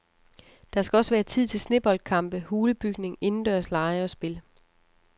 Der skal også være tid til sneboldkampe, hulebygning, indendørslege og spil.